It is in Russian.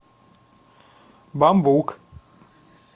бамбук